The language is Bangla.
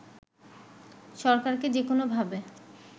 “সরকারকে যেকোনো ভাবে